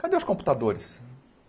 Cadê os computadores?